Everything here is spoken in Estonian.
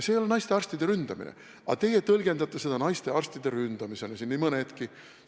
See ei ole naistearstide ründamine, aga teie tõlgendate seda naistearstide ründamisena – nii mõnedki teist.